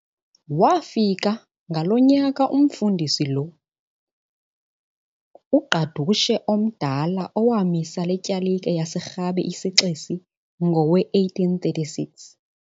Waafika ngalo nyaka umFundisi lo, uGqadushe omdala owamisa le tyalike yaseRhabe iseXesi ngowe-1836.